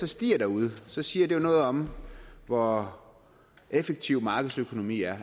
stiger derude siger det jo noget om hvor effektiv markedsøkonomien er